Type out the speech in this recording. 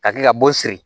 Ka kila ka bo siri